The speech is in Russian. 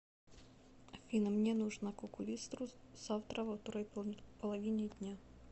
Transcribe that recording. афина мне нужно к окулисту завтра во второй половине дня